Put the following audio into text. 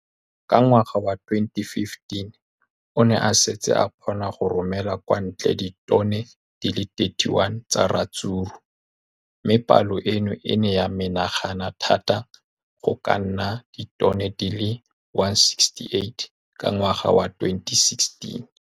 Ka ngwaga wa 2015, o ne a setse a kgona go romela kwa ntle ditone di le 31 tsa ratsuru mme palo eno e ne ya menagana thata go ka nna ditone di le 168 ka ngwaga wa 2016.